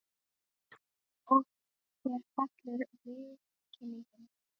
Og þér fellur viðkynningin?